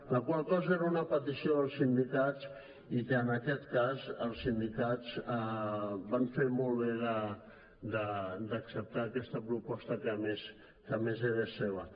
la qual cosa era una petició dels sindicats i que en aquest cas els sindicats van fer molt bé d’acceptar aquesta proposta que a més era seva